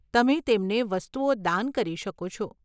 તમે તેમને વસ્તુઓ દાન કરી શકો છો.